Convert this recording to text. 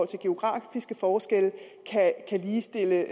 til geografiske forskelle kan ligestille